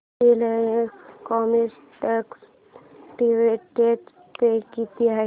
Reliance Chemotex dividend pay किती आहे